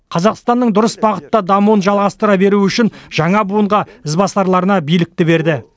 қазақстанның дұрыс бағытта дамуын жалғастыра беру үшін жаңа буынға ізбасарларына билікті берді